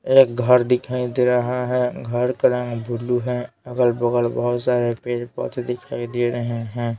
एक घर दिखाई दे रहा है घर का रंग ब्लू है अगल-बगल बहुत सारे पेज पौधे दिखाई दे रहे हैं।